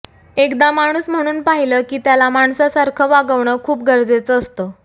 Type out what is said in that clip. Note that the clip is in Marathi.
एकदा माणूस म्हणून पाहिलं की त्याला माणसासारखं वागवण खूप गरजेचं असतं